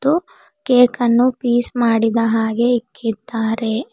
ಹಾಗು ಕೇಕ್ ಅನ್ನು ಪೀಸ್ ಮಾಡಿದ ಹಾಗೆ ಇಕ್ಕಿದಾರೆ.